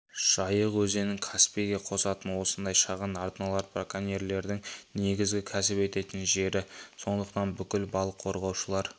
жайық өзенін каспийге қосатын осындай шағын арналар браконьерлердің негізгі кәсіп ететін жері сондықтан бүкіл балық қорғаушылар